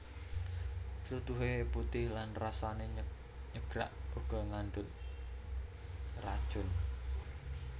Tlutuhe putih lan rasane nyegrak uga ngandhut racun